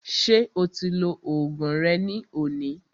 Ṣé o ti lo oògùn rẹ ní òní?